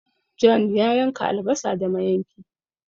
John ya yanka albasa da mayanki